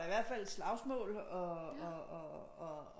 I hvert fald slagsmål og og